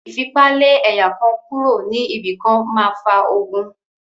Ìfipa lé ẹ̀yà kan kúro ní ibi kan máa fa ogun.